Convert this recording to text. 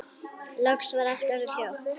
Loks var allt orðið hljótt.